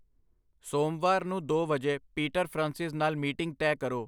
ਸੋਮਵਾਰ ਨੂੰ ਦੋ ਵਜੇ ਪੀਟਰ ਫ੍ਰਾਂਸਿਸ ਨਾਲ ਮੀਟਿੰਗ ਤੈਅ ਕਰੋ।